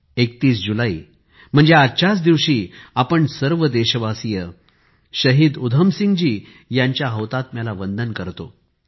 31 जुलै म्हणजे आजच्याच दिवशी आपण सर्व देशबांधव शाहिद उधम सिंह जी यांच्या हौताम्याला वंदन करतो